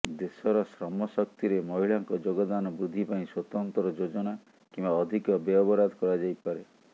ଦେଶର ଶ୍ରମଶକ୍ତିରେ ମହିଳାଙ୍କ ଯୋଗଦାନ ବୃଦ୍ଧି ପାଇଁ ସ୍ୱତନ୍ତ୍ର ଯୋଜନା କିମ୍ବା ଅଧିକ ବ୍ୟୟବରାଦ କରାଯାଇପାରେ